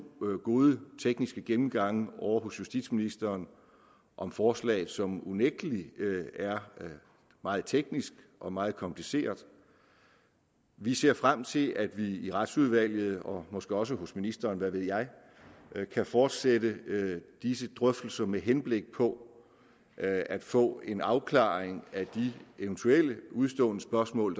gode tekniske gennemgange ovre hos justitsministeren om forslaget som unægtelig er meget teknisk og meget kompliceret vi ser frem til at vi i retsudvalget og måske også hos ministeren hvad ved jeg kan fortsætte disse drøftelser med henblik på at få en afklaring af de eventuelle udestående spørgsmål